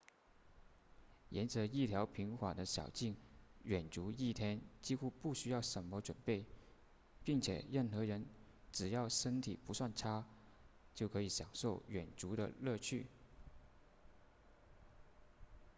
沿着一条平缓的小径远足一天几乎不需要什么准备并且任何人只要身体不算差都可以享受远足的乐趣